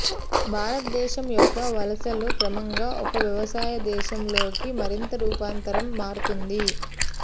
భారతదేశం యొక్క వలసలు క్రమంగా ఒక వ్యవసాయ దేశం లోకి మరింత రూపాంతరం మారుతోంది